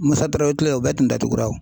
Musa Tarawele kile la o bɛɛ tun datugura.